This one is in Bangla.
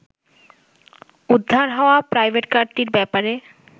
উদ্ধার হওয়া প্রাইভেটকারটির ব্যাপারে